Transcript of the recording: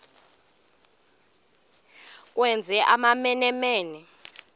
ukwenza amamene mene